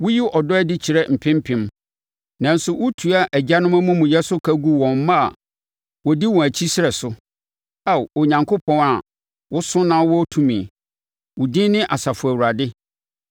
Woyi ɔdɔ adi kyerɛ mpempem, nanso wotua agyanom amumuyɛ so ka gu wɔn mma a wɔdi wɔn akyi srɛ so. Ao, Onyankopɔn a woso na wowɔ tumi, wo din ne Asafo Awurade,